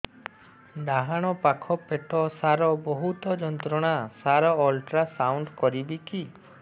ଡାହାଣ ପାଖ ପେଟ ସାର ବହୁତ ଯନ୍ତ୍ରଣା ସାର ଅଲଟ୍ରାସାଉଣ୍ଡ କରିବି କି